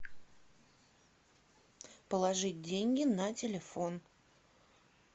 положить деньги на телефон